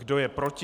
Kdo je proti?